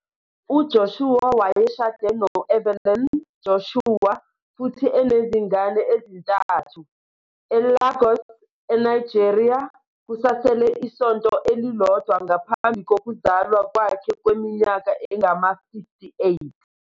UJoshua wayeshade no-Evelyn Joshua futhi enezingane ezintathu. eLagos, eNigeria, kusasele isonto elilodwa ngaphambi kokuzalwa kwakhe kweminyaka engama-58.